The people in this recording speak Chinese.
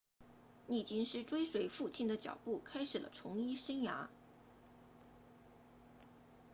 利金斯 liggins 追随父亲的脚步开始了从医生涯